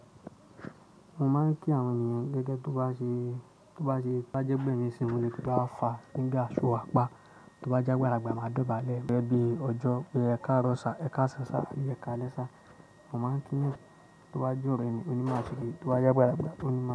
Mo máa ń kí àwọn ènìyàn gẹ́gẹ́ tó bá se ba jẹ́ gbẹ̀mí si mò le kí pe how far niga ṣọ wàpá, tó bá jẹ́ agbàlàgba máa dọ̀bálẹ̀ gẹ́gẹ́ bí ọjọ́, pe e káaro ṣà, ẹ káṣàn ṣà àbí ẹ káalẹ ṣà. Mo máa ń kí eeyan tó bá je ore mi, o ní bi ma se ki tó bá jẹ́ agbà lagbà o ní.